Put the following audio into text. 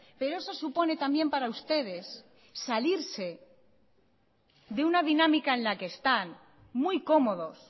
pero eso supone también para ustedes salirse de una dinámica en la que están muy cómodos